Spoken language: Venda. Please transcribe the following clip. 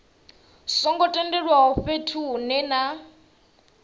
songo tendelwaho fhethu hunwe na